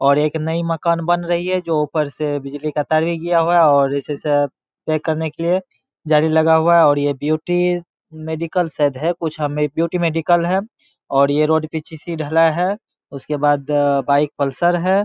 और एक नई मकान बन रही है जो ऊपर से बिजली का तार भी गया हुआ है और इसी से पैक करने के लिए जाली लगा हुआ है और ये ब्यूटी मेडिकल शायद है कुछ हमें ब्यूटी मेडिकल है और ये रोड पीछे से ढला है उसके बाद बाइक पल्सर है|